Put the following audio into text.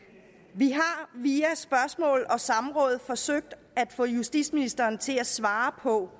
vi har via spørgsmål og samråd forsøgt at få justitsministeren til at svare på